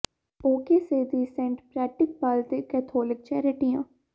ਓ K C ਦੇ Saint Patrick ਬੱਲ ਦੇ ਕੈਥੋਲਿਕ ਚੈਰਿਟੀਆਂ